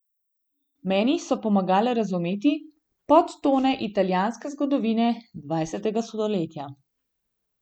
Meni so pomagale razumeti podtone italijanske zgodovine dvajsetega stoletja.